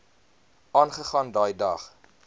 aangegaan daai dag